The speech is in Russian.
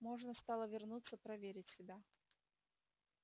можно стало вернуться проверить себя